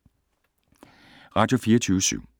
Radio24syv